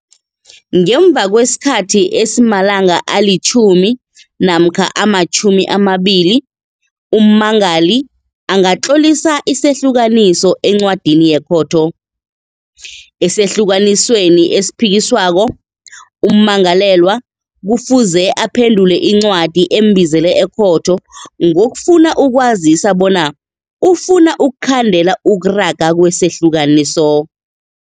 Ngemva kwesikhathi esimalanga alitjhumi namkha ama-20, ummangali angatlolisa isehlukaniso encwadini yekhotho. Esahlukanisweni esiphikiswako, ummangalelwa kufuze aphendule incwadi embizele ekhotho ngokufuna ukwazisa bona ufuna ukukhandela ukuraga kwesehlukaniso.